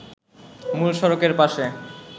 মূল সড়কের পাশে